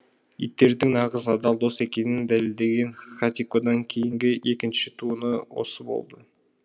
иттердің нағыз адал дос екенін дәлелдеген хатикодан кейінгі екінші туыны осы болды